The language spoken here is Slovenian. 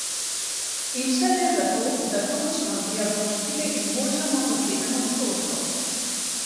In vse le zato, da točnost diagnostike izboljšamo za sedem odstotkov!